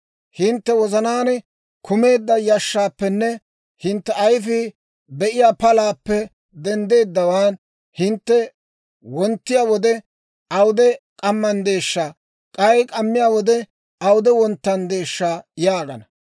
Hintte wozanaan kumeedda yashshaappenne hintte ayfii be'iyaa palaappe denddeeddawaan, hintte wonttiyaa wode, ‹Awude k'ammanddeeshsha› k'ay k'ammiyaa wode, ‹Awude wonttanddeeshsha› yaagana.